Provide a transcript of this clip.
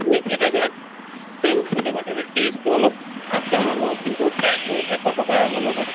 তুমি এটা জগাত same চলে ভতুৰে taste টো অলপ up down হʼব কিন্তু price টো এশ টকা লʼব পাৰে।